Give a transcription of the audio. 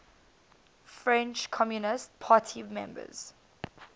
french communist party members